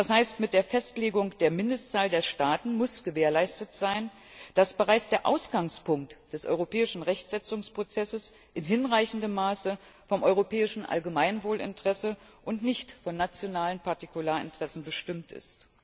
Das heißt, mit der Festlegung der Mindestzahl der Staaten muss gewährleistet sein, dass bereits der Ausgangspunkt des europäischen Rechtsetzungsprozesses in hinreichendem Maße vom europäischen Allgemeinwohlinteresse und nicht von nationalen Partikularinteressen bestimmt ist.